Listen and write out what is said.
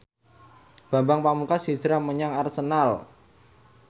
Bambang Pamungkas hijrah menyang Arsenal